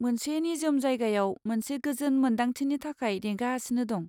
मोनसे निजोम जायगायाव मोनसे गोजोन मोन्दांथिनि थाखाय नेगासिनो दं।